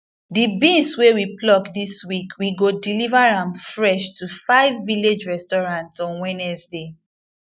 the beans wey we pluck this week we go deliver am fresh to five village restaurants on wednesday